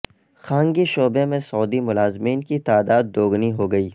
خانگی شعبہ میں سعودی ملازمین کی تعداد دوگنی ہو گئی